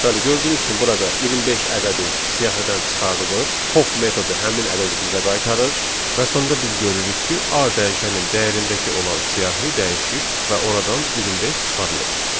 Bəli, gördüyünüz kimi, burada 25 ədədi siyahıdan çıxarılır, pop metodu həmin ədədi bizə qaytarır və sonda biz görürük ki, A dəyişənin dəyərindəki olan siyahı dəyişib və oradan 25 çıxarılıb.